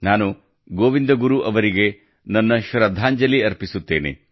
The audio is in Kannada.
ನಾನು ಗೋವಿಂದ ಗುರು ಅವರಿಗೆ ನನ್ನ ಶ್ರದ್ಧಾಂಜಲಿ ಅರ್ಪಿಸುತ್ತೇನೆ